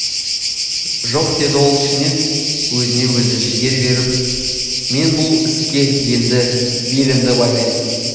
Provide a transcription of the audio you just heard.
жоқ деді ол ішінен өзіне өзі жігер беріп мен бұл іске енді белімді байлаймын